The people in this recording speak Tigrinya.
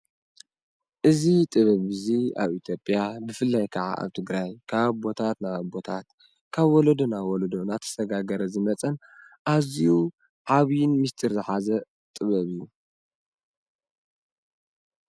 አዚ ጥበብ እዙይ ኣብ ኢትዮጵያ ብፍላይ ከዓ ኣብ ትግራይ ካብ ኣቦታት ናብ ኣቦታት ካብ ወሎዶ ናብ ወሎዶ አንዳተሰጋገረ ዝመፀን ኣዝዩ ዓበይን ምስጠር ዝሐዘ ጥበብ እዩ።